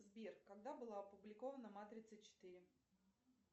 сбер когда была опубликована матрица четыре